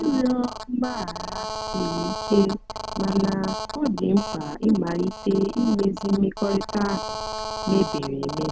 ịrịọ mgbaghara siri ike mana ọ dị mkpa ịmalite imezi mmekọrịta ahụ mebiri emebi.